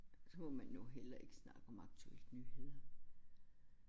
Så må man jo heller ikke snakke om aktuelt nyheder